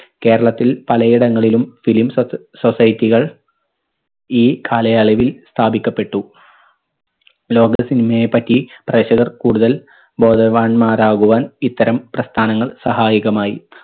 കേരളത്തിൽ പലയിടങ്ങളിലും film socie society കൾ ഈ കാലയളവിൽ സ്ഥാപിക്കപ്പെട്ടു. ലോക cinema യെ പറ്റി പ്രേക്ഷകർ കൂടുതൽ ബോധവാന്മാരാകുവാൻ ഇത്തരം പ്രസ്ഥാനങ്ങൾ സഹായകമായി.